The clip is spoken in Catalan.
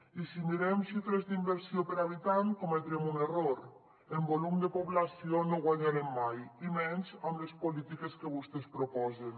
i si mirem xifres d’inversió per habitant cometrem un error en volum de població no guanyarem mai i menys amb les polítiques que vostès proposen